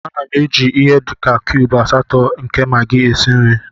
M na-eji ihe dị ka cubes asatọ nke Magi esi nri.